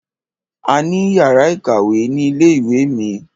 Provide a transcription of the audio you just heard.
A ní yàrá ìkàwé ni ilé ìwé mi.